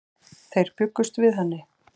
Þeir bjuggust við henni.